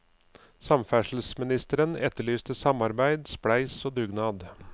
Samferdselsministeren etterlyste samarbeid, spleis og dugnad.